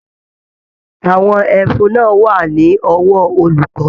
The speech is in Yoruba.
Àwọn ẹfun náà wà ní ọwọ olùkọ.